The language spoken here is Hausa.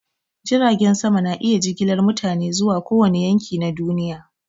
Jiragen sama na iya jigilar mutane zuwa kowane yanki na duniya.